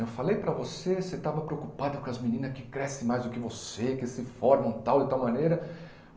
Eu falei para você, você estava preocupada com as meninas que crescem mais do que você, que se formam tal, e tal maneira.